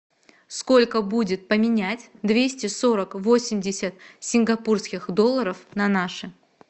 сколько будет поменять двести сорок восемьдесят сингапурских долларов на наши